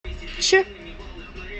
че